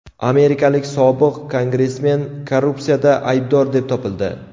Amerikalik sobiq kongressmen korrupsiyada aybdor deb topildi.